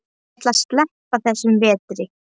Ég ætla að sleppa þessum vetri.